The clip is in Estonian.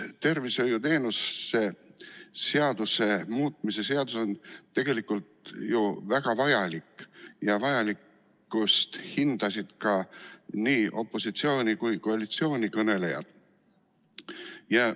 Tervishoiuteenuste seaduse muutmise seadus on tegelikult ju väga vajalik ja seda pidasid vajalikuks nii opositsiooni- kui ka koalitsioonikõnelejad.